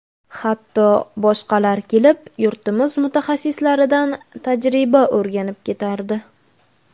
Hatto boshqalar kelib, yurtimiz mutaxassislaridan tajriba o‘rganib ketardi.